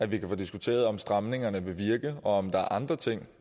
vi kan få diskuteret om stramningerne vil virke og om der er andre ting